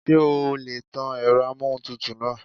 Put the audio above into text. Ṣé o lè tan èrọ amóhuntutù náà?